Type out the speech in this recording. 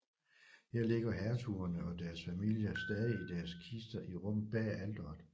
Her ligger hertugerne og deres familier stadig i deres kister i rummet bag alteret